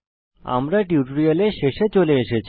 আমরা টিউটোরিয়ালের শেষে চলে এসেছি